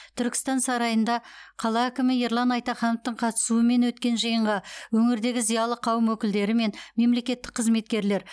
түркістан сарайында қала әкімі ерлан айтахановтың қатысуымен өткен жиынға өңірдегі зиялы қауым өкілдері мен мемлекеттік қызметкерлер